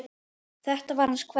Þetta var hans kveðja.